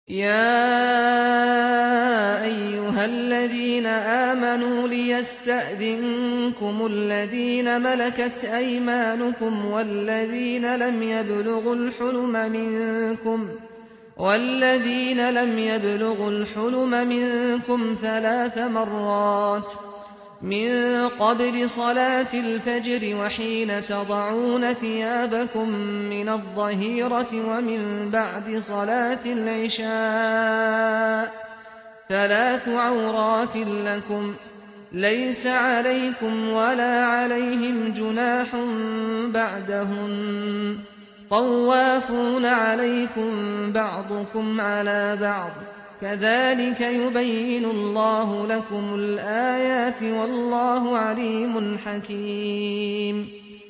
يَا أَيُّهَا الَّذِينَ آمَنُوا لِيَسْتَأْذِنكُمُ الَّذِينَ مَلَكَتْ أَيْمَانُكُمْ وَالَّذِينَ لَمْ يَبْلُغُوا الْحُلُمَ مِنكُمْ ثَلَاثَ مَرَّاتٍ ۚ مِّن قَبْلِ صَلَاةِ الْفَجْرِ وَحِينَ تَضَعُونَ ثِيَابَكُم مِّنَ الظَّهِيرَةِ وَمِن بَعْدِ صَلَاةِ الْعِشَاءِ ۚ ثَلَاثُ عَوْرَاتٍ لَّكُمْ ۚ لَيْسَ عَلَيْكُمْ وَلَا عَلَيْهِمْ جُنَاحٌ بَعْدَهُنَّ ۚ طَوَّافُونَ عَلَيْكُم بَعْضُكُمْ عَلَىٰ بَعْضٍ ۚ كَذَٰلِكَ يُبَيِّنُ اللَّهُ لَكُمُ الْآيَاتِ ۗ وَاللَّهُ عَلِيمٌ حَكِيمٌ